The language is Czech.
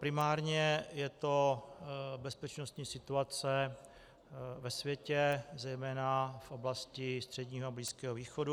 Primárně je to bezpečnostní situace ve světě, zejména v oblasti Středního a Blízkého východu.